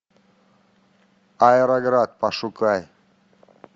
аэроград пошукай